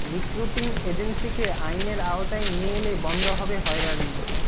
recruiting এজেন্সিকে আইনের আওতায় নিয়ে এলে বন্ধ হবে হয়রানি